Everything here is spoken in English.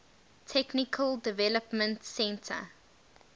technical development center